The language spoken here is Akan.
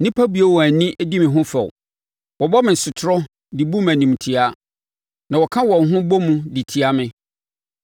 Nnipa bue wɔn ano di me ho fɛw; wɔbɔ me sotorɔ de bu me animtiaa na wɔka wɔn ho bɔ mu de tia me.